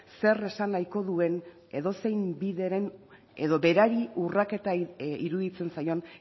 zer esan nahiko duen edozein bideren edo berari urraketa iruditzen zaion